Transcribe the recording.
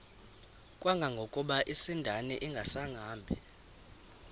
kangangokuba isindane ingasahambi